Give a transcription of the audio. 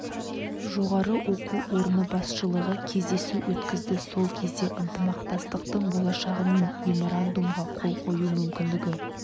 жоғары оқу орны басшылығы кездесу өткізді сол кезде ынтымақтастықтың болашағы мен меморандумға қол қою мүмкіндігі